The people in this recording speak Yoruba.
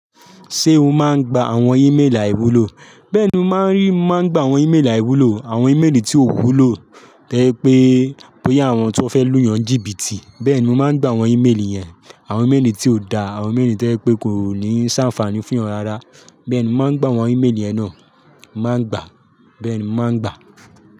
Ṣé o máa ń gba àwọn ímélì àìwúlò? Bẹ́ẹ̀ni, mo máa ń rí, mo máa ń gba àwọn ímélì àìwúlò, àwọn ímélì tí ò wúlò, tẹ́lẹ̀ pé pé ya àwọn tí wọ́n fẹ́ lù yàn jìbìtì. Bẹ́ẹ̀ni, mo máa ń gba àwọn ímélì yẹn, àwọn ímélì tí ò da, àwọn ímélì tí ó je pé kò ní ṣàǹfààní fún yàn rárá. Bẹ́ẹ̀ni, mo máa ń gba àwọn ímélì ẹ̀nà, màá gba, bẹ́ẹ̀ni, màá gba.